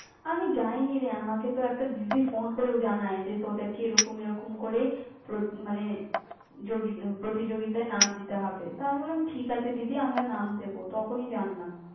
আমি যাইনি রে, আমাকে তো একটা দিদি phone করে জানায় যে, তাদেরকে এরকম এরকম করে প্রত~ মানে ~যোগী প্রতিযোগিতায় নাম দিতে হবে। তা আমি বললাম, ঠিক আছে দিদি আমরা নাম দেব, তখনই জানলাম।